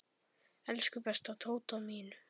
Elsku besta Tóta mín.